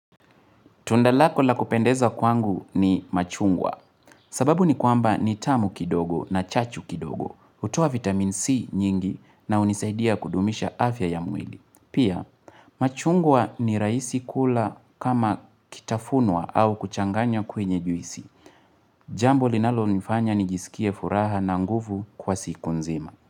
Tunda lako la kupendeza kwangu ni machungwa sababu ni kwamba nitamu kidogo na chachu kidogo, hutoa vitamin C nyingi na hunisaidia kudumisha afya ya mwili. Pia, machungwa ni rahisi kula kama kitafunwa au kuchanganya kwenye juisi. Jambo linalonifanya nijisikie furaha na nguvu kwa siku nzima.